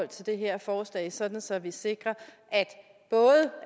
det her forslag sådan så vi sikrer